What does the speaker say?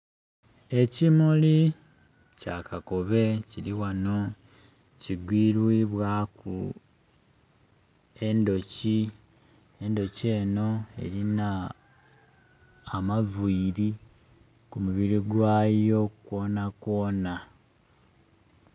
Ekimuli kya kakobe kili ghano kigwiribwaku endhoki, endhoki eno erina amaviri ku mubiri gwayo gwona gwona.